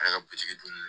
Ale ka bitiki dun